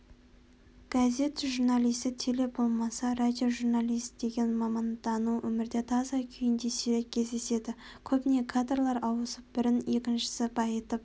газет журналисі теле болмаса радиожурналист деген мамандану өмірде таза күйінде сирек кездеседі көбіне кадрлар ауысып бірін екіншісі байытып